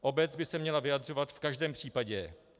Obec by se měla vyjadřovat v každém případě.